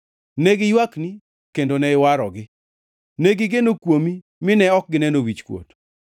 Ne giywakni kendo ne iwarogi; negigeno kuomi mine ok gineno wichkuot.